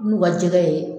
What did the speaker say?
N'u ka jɛgɛ ye